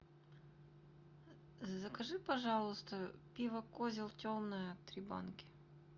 закажи пожалуйста пиво козел темное три банки